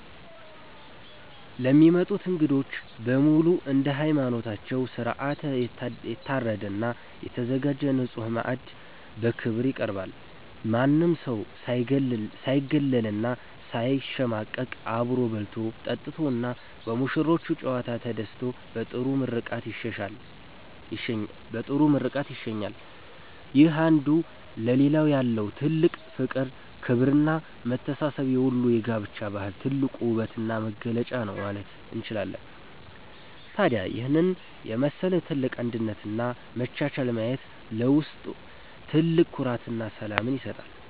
ለሚመጡት እንግዶች በሙሉ እንደየሃይማኖታቸው ሥርዓት የታረደና የተዘጋጀ ንጹሕ ማዕድ በክብር ይቀርባል። ማንም ሰው ሳይገለልና ሳይሸማቀቅ አብሮ በልቶ፣ ጠጥቶና በሙሽሮቹ ጨዋታ ተደስቶ በጥሩ ምርቃት ይሸኛል። ይህ አንዱ ለሌላው ያለው ጥልቅ ፍቅር፣ ክብርና መተሳሰብ የወሎ የጋብቻ ባህል ትልቁ ውበትና መገለጫ ነው ማለት እችላለሁ። ታዲያ ይህንን የመሰለ ትልቅ አንድነትና መቻቻል ማየት ለውስጥ ትልቅ ኩራትና ሰላምን ይሰጣል።